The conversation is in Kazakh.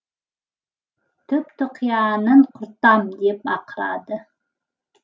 түп тұқияның құртам деп ақырады